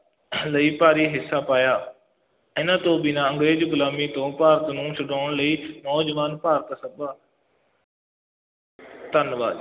ਲਈ ਭਾਰੀ ਹਿੱਸਾ ਪਾਇਆ, ਇਹਨਾ ਤੋਂ ਬਿਨਾ ਅੰਗਰੇਜ਼ ਗੁਲਾਮੀ ਤੋਂ ਭਾਰਤ ਨੂੰ ਛੁਡਉਣ ਲਈ ਨੌਜਵਾਨ ਭਾਰਤ ਸਭਾ ਧੰਨਵਾਦ।